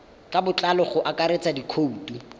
ka botlalo go akaretsa dikhoutu